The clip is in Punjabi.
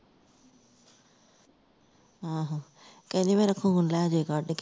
ਹਉ ਕਹਿੰਦੀ ਮੇਰਾ ਖੂਨ ਲੈ ਜਾਵੇ ਖੱਡ ਕੇ